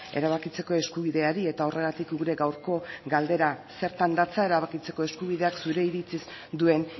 erabakitzeko eskubideari eta horregatik gure gaurko galdera zertan datza erabakitzeko eskubideak zure iritziz duen